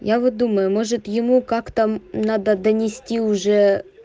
я вот думаю может ему как-то надо донести уже